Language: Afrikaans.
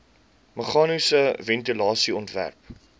meganiese ventilasie ontwerp